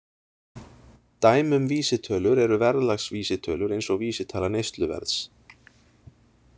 Dæmi um vísitölur eru verðlagsvísitölur eins og vísitala neysluverðs.